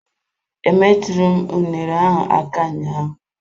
Emetughi m unere ahụ aka ụnyaahụ.